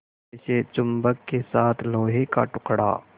जैसे चुम्बक के साथ लोहे का टुकड़ा